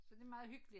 Så det meget hyggeligt